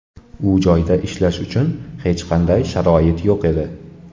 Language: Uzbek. U joyda ishlash uchun hech qanday sharoit yo‘q edi.